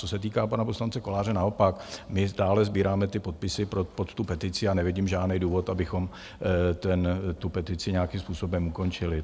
Co se týká pana poslance Koláře - naopak, my dále sbíráme ty podpisy pod tu petici a nevidím žádný důvod, abychom tu petici nějakým způsobem ukončili.